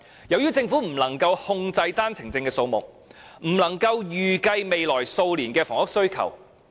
由於政府不能夠控制單程證的數目，因此不能夠預計未來數年的房屋需求。